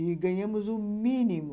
E ganhamos o mínimo.